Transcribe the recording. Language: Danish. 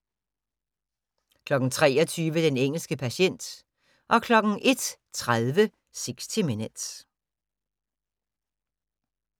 23:00: Den engelske patient 01:30: 60 Minutes